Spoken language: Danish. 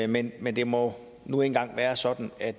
men men det må nu engang være sådan at